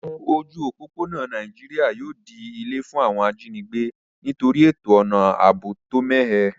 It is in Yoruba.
Ojú òpópónà Naijiri yio di ilé fún àwon ajínigbé nítorí ètò àbò tó mẹ́hẹ